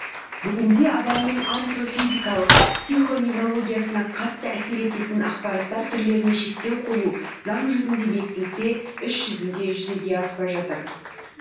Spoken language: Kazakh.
бүгінде адамның антро физикалық психо неврологиясына қатты әсер ететін ақпараттар түрлеріне шектеу қою заң жұзінде бекітілсе іс жұзінде жүзеге аспай жатыр